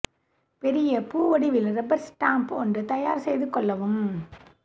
பெரிய பூ வடிவில் ரப்பர் ஸ்டாம்ப் ஒன்று தயார் செய்து கொள்ளவும்